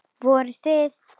Voruð þið.